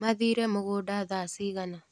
Mathire mũgũnda thaa cigana.